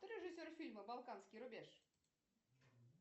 кто режиссер фильма балканский рубеж